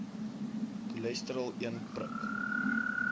cholesterol een prik